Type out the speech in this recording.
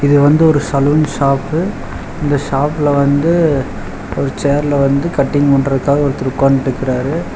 இது வந்து ஒரு சலூன் ஷாப்பு இந்த ஷாப்புல வந்து ஒரு சேர்ல வந்து கட்டிங் பன்றக்காக ஒருத்தர் உக்கான்ட்ருக்கறாரு.